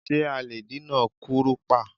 Ṣé a lè dènà kúrùpá?